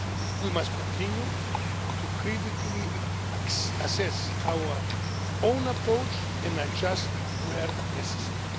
We must continue to critically assess our own approach and adjust, where necessary.